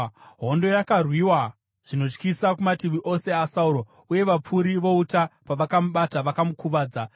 Hondo yakarwiwa zvinotyisa kumativi ose aSauro uye vapfuri vouta pavakamubata, vakamukuvadza.